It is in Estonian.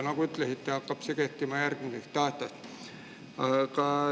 Nagu te ütlesite, see hakkab kehtima järgmisest aastast.